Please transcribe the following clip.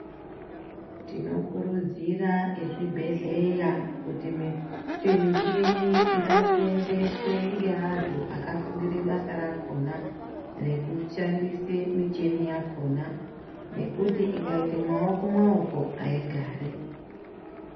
Tinokurudzira ezvibhedhleya kuti michini ngaisenzeswe ngeantu akafundire basa rakhona rekushandise michini yakhona ngekuti ikaite maoko maoko, aigari.